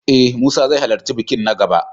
E, Musa zai halarci bikin na gaba.